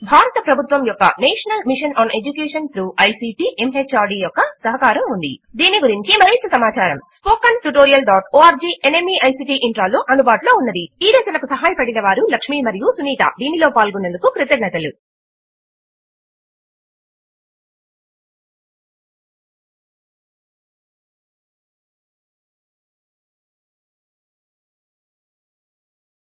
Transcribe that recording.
ఈ మిషన్ గురించి మరింత సమాచారము